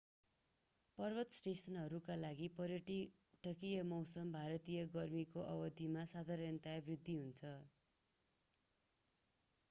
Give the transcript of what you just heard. पर्वत स्टेसनहरूका लागि पर्यटकीय मौसम भारतीय गर्मीको अवधिमा साधारणतया वृद्धि हुन्छ